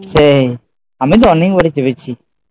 সেই, আমিতো অনেকবারই চেপেছি